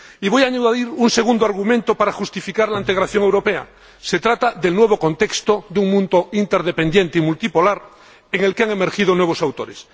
Y voy a añadir un segundo argumento para justificar la integración europea. Se trata del nuevo contexto de un mundo interdependiente y multipolar en el que han emergido nuevos autores.